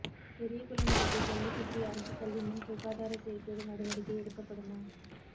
பெரியகுளம் அருகே ஜல்லிபட்டி அரசுபள்ளி முன் சுகாதார சீா்கேடு நடவடிக்கை எடுக்கப்படுமா